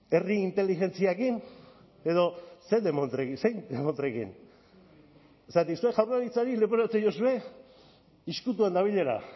herri inteligentziarekin edo zein demontrekin zergatik zuek jaurlaritzari leporatzen diozue ezkutuan dabilela